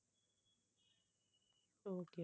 okay okay